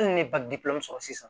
Hali ni sɔrɔ sisan